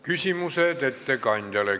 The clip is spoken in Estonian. Küsimused ettekandjale.